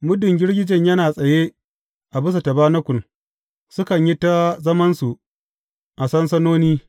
Muddin girgijen yana tsaye a bisa tabanakul, sukan yi ta zamansu a sansanoni.